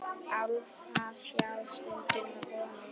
Álfa sjá stundum konur.